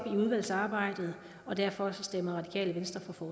udvalgsarbejdet og derfor stemmer radikale venstre for